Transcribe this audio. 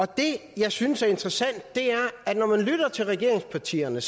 det jeg synes er interessant er at når man lytter til regeringspartierne